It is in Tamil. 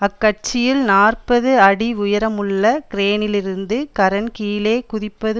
அக்காட்சியில் நாற்பது அடி உயரமுள்ள கிரேனிலிருந்து கரண் கீழே குதிப்பது